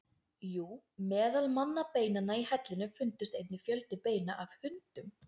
Jú, meðal mannabeinanna í hellinum fundust einnig fjöldi beina af hundum.